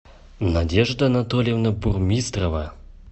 надежда анатольевна бурмистрова